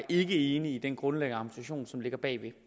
ikke enige i den grundlæggende argumentation som ligger bag